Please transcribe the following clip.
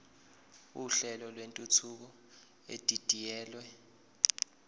uhlelo lwentuthuko edidiyelwe